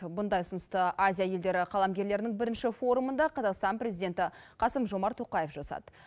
бұндай ұсынысты азия елдері қаламгерлерінің бірінші форумында қазақстан президенті қасым жомарт тоқаев жасады